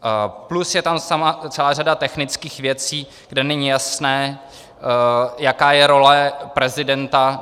Plus je tam celá řada technických věcí, kde není jasné, jaká je role prezidenta.